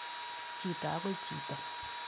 Chito akoi chito